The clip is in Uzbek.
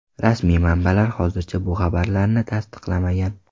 Rasmiy manbalar hozircha bu xabarlarni tasdiqlamagan.